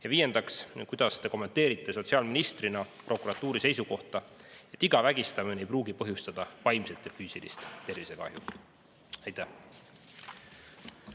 Ja viiendaks, kuidas te kommenteerite sotsiaalministrina prokuratuuri seisukohta, et iga vägistamine ei pruugi põhjustada vaimset ja füüsilist tervisekahju?